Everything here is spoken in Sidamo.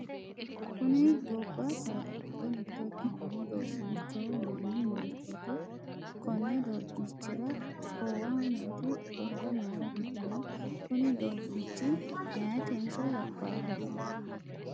kuni gobba saada giddo mitto ikkinohu doobbiichoho yinanni moyiichooti? konni doobbiiichira koowaho nooti orda mayiira fultinote? kuni doobbiichi meyeetenso labbaaho?